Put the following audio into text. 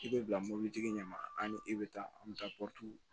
I bɛ bila mɔbilitigi ɲɛ ma ani e bɛ taa an bɛ taa